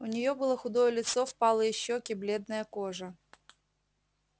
у нее было худое лицо впалые щеки бледная кожа